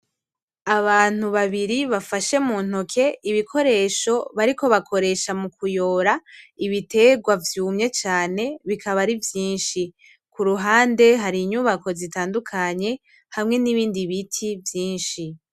abantu babiri bafashe m'untoki ibikoresho bariko bakoresha mukuyora ibiterwa vyumye cane bikaba ari vyishi. kuruhande hari inyubako zitandukanye hamwe nibindi biti vyishi.